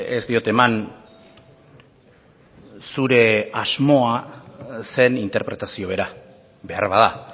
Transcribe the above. ez diot eman zure asmoa zen interpretazio bera beharbada